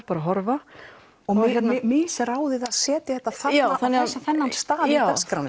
bara að horfa misráðið að setja þetta á þennan stað í dagskránni